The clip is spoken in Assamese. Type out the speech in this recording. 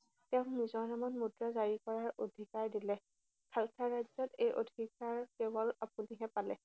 তেওঁক নিজৰ নামত মুদ্ৰা জাৰি কৰাৰ অধিকাৰ দিলে। খালছা ৰাজ্যত এই অধিকাৰ কেৱল আপুনিহে পালে।